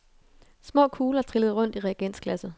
Små kugler trillede rundt i reagensglasset.